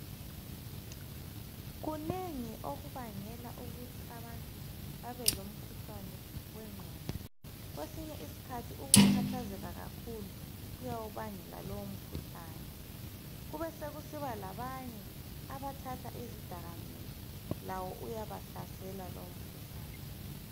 Kunengi okubangela ukuthi abantu babe lomkhuhlane wengqondo. Kwesinye iskhathi ukukhathazeka kakhulu kuyawubangela lo umkhuhlane. Kube sokusiba labanye abathatha izdakamizwa, labo uyabahlasela lo mkhuhlane.